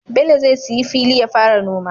Bello zai siya fili yafara noma